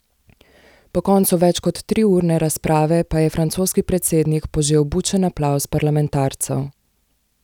Po koncu več kot triurne razprave pa je francoski predsednik požel bučen aplavz parlamentarcev.